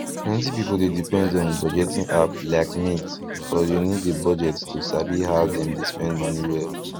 plenty people dey depend on budgeting app like mint or you need a budget to sabi how dem dey spend money well